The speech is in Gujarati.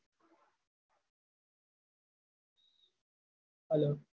hello